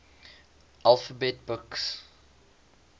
alphabet books